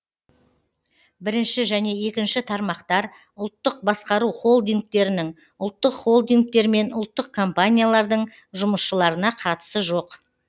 бірінші және екінші тармақтар ұлттық басқару холдингтерінің ұлттық холдингтер мен ұлттық компаниялардың жұмысшыларына қатысы жоқ